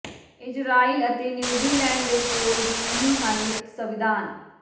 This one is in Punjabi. ਇਜ਼ਰਾਈਲ ਅਤੇ ਨਿਊਜ਼ੀਲੈਂਡ ਦੇ ਕੋਲ ਵੀ ਨਹੀਂ ਹਨ ਲਿਖਤ ਸੰਵਿਧਾਨ